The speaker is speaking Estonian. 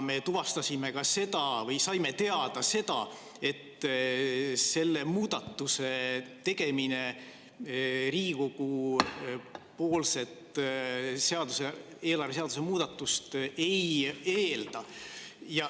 Me tuvastasime või saime teada ka seda, et selle muudatuse tegemine Riigikogus tehtavat eelarveseaduse muudatust ei eelda.